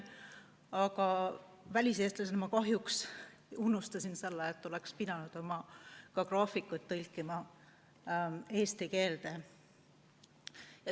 Aga väliseestlasena ma kahjuks unustasin selle, et oleks pidanud graafikud tõlkima eesti keelde.